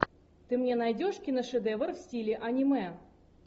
ты мне найдешь киношедевр в стиле аниме